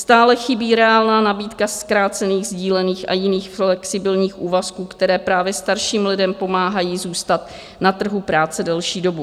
Stále chybí reálná nabídka zkrácených, sdílených a jiných flexibilních úvazků, které právě starším lidem pomáhají zůstat na trhu práce delší dobu.